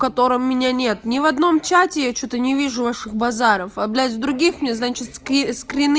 котором меня нет ни в одном чате я что-то не вижу ваших базаров облить с других не значит